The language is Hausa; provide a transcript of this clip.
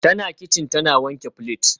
Tana kicin tana wanke plates